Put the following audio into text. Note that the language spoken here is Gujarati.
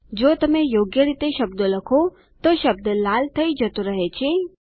જો તમે યોગ્ય રીતે શબ્દો લખો તો શબ્દ લાલ થઇ જતો રહે છે